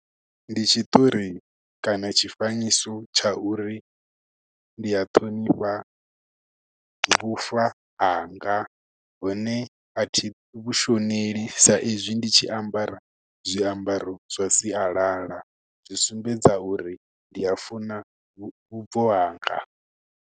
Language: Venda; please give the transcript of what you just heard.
Ndi tshiṱori kana tshifanyiso tsha uri ndi a ṱhonifha vhufa hanga, hune a thi vhushoneli sa ezwi ndi tshi ambara zwiambaro zwa sialala. Zwi sumbedza uri ndi a funa vhubvo hanga.